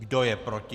Kdo je proti?